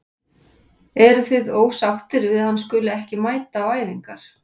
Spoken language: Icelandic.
Eruð þið ósáttir við að hann skuli ekki mæta á æfingar?